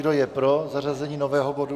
Kdo je pro zařazení nového bodu?